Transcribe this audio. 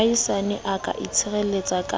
moahisane a ka tshireletswa ke